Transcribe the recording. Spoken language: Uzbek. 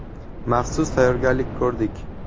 Maxsus tayyorgarlik ko‘rdik.